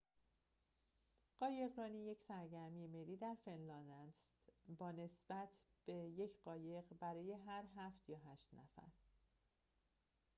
قایقرانی یک سرگرمی ملی در فنلاند است با نسبت یک قایق برای هر هفت یا هشت نفر